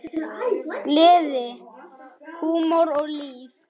Gleði, húmor og líf.